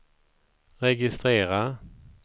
registrera